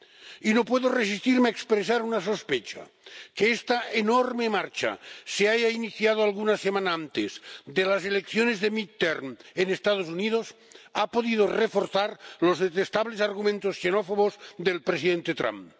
Y no puedo resistirme a expresar una sospecha que esta enorme marcha se haya iniciado alguna semana antes de las elecciones de intermedias en los Estados Unidos ha podido reforzar los detestables argumentos xenófobos del presidente Trump.